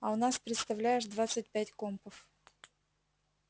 а у нас представляешь двадцать пять компов